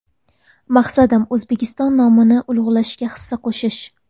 Maqsadim O‘zbekiston nomini ulug‘lashga hissa qo‘shish.